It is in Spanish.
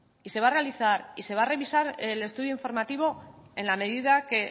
y se va a realizar y se va a revisar el estudio informativo en la medida que